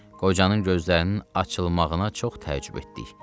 Qocanın gözlərinin açılmağına çox təəccüb etdik.